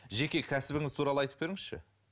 жеке кәсібіңіз туралы айтып беріңізші